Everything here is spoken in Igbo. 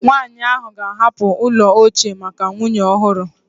Nwanyị ahụ ga-ahapụ ụlọ ochie maka nwunye ọhụrụ